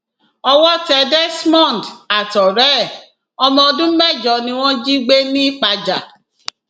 owó tẹ desmond àtọrẹ ẹ ọmọ ọdún mẹjọ ni wọn jí gbé ni pajà